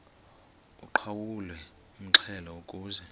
uqhawulwe umxhelo ukuze